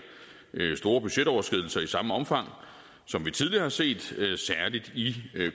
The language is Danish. store budgetoverskridelser i samme omfang som vi tidligere har set særlig i